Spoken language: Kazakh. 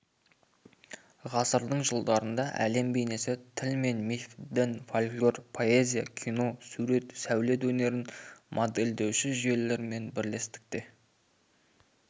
ғасырдың жылдарында әлем бейнесі тіл мен миф дін фольклор поэзия кино сурет сәулет өнерін модельдеуші жүйелермен бірлестікте